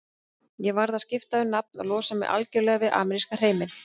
Ég varð að skipta um nafn og losa mig algjörlega við ameríska hreiminn.